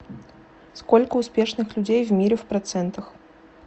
сколько успешных людей в мире в процентах